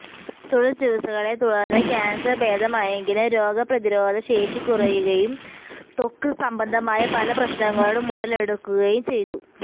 തുടര് ചികിത്സകളെ തുടര്ന്ന് ക്യാന്സര് ഭേദമായെങ്കിലും രോഗപ്രതിരോധ ശേഷി കുറയുകയും ത്വക്ക് സംബന്ധമായ പല പ്രശ്നങ്ങളും ഉടലെടുക്കുകയും ചെയ്തു